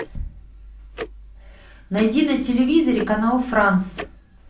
найди на телевизоре канал франс